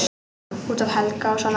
Út af Helga og svona.